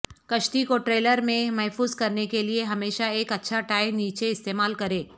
کشتی کو ٹریلر میں محفوظ کرنے کے لئے ہمیشہ ایک اچھا ٹائی نیچے استعمال کریں